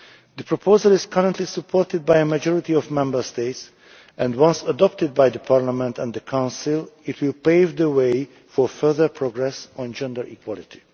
The proposal is currently supported by a majority of Member States, and once adopted by the Parliament and the Council it will pave the way for further progress on gender equality.